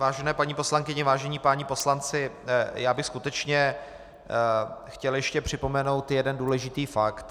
Vážené paní poslankyně, vážení páni poslanci, já bych skutečně chtěl ještě připomenout jeden důležitý fakt.